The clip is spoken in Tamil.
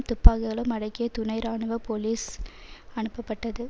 துப்பாகிகளும் அடங்கிய துணை இராணுவ போலீஸ் அனுப்பப்பட்டது